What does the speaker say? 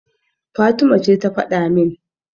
Fatima ce ta faɗa min.